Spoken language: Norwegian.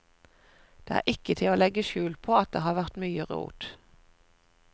Det er ikke til å legge skjul på at det har vært mye rot.